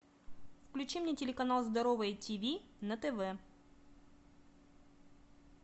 включи мне телеканал здоровое тв на тв